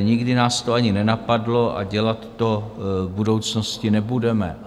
nikdy nás to ani nenapadlo a dělat to v budoucnosti nebudeme.